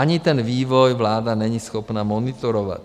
Ani ten vývoj vláda není schopna monitorovat.